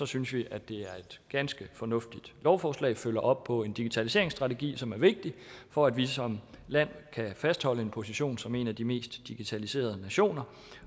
synes vi at det er et ganske fornuftigt lovforslag der følger op på en digitaliseringsstrategi som er vigtig for at vi som land kan fastholde en position som en af de mest digitaliserede nationer